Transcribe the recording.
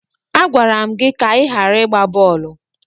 Agwara m gị ka ị ghara ịgba bọọlụ!